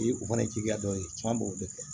E o fana ye jiya dɔ ye k'an b'o de kɛ